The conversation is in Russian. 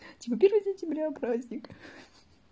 типа первое сентября праздник